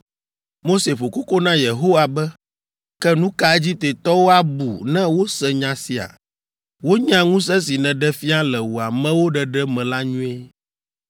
Mose ƒo koko na Yehowa be, “Ke nu ka Egiptetɔwo abu ne wose nya sia? Wonya ŋusẽ si nèɖe fia le wò amewo ɖeɖe me la nyuie.